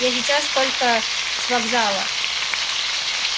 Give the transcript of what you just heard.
я сейчас только с вокзала